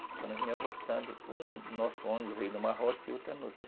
Quando nós vinhamos voltando, o nosso ônibus veio em uma rota e outro em outra.